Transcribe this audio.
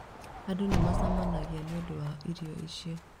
Andũ nĩ macemanagia nĩ ũndũ wa irio icio.